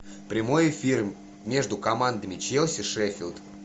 прямой эфир между командами челси шеффилд